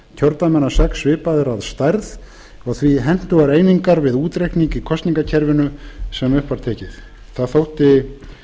kjördæmanna sex svipaðir að stærð og því hentugar einingar við útreikning í kosningakerfinu sem upp var tekið það þótti